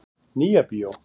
Nýja bíó